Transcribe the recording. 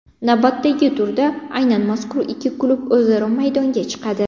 Navbatdagi turda aynan mazkur ikki klub o‘zaro maydonga chiqadi.